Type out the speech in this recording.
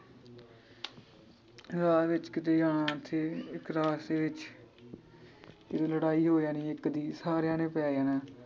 ਰਾਹ ਵਿਚ ਕੀਤੇ ਯਾਂ ਤੇ ਕਲਾਸ ਦੇ ਵਿਚ ਲੜਾਈ ਹੋ ਜਾਣੀ ਇੱਕ ਦੀ ਸਾਰਿਆਂ ਨੇ ਪੈ ਜਾਣਾ।